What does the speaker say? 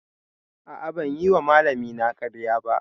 A'a, ban yi wa malamina ƙarya ba.